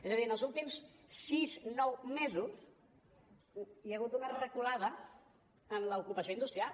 és a dir en els últims sis nou mesos hi ha hagut una reculada en l’ocupació industrial